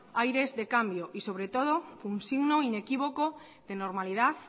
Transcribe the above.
aires de cambios y sobre todo un signo inequívoco de normalidad